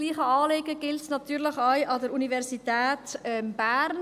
Dasselbe Anliegen gilt natürlich auch betreffend die Universität Bern.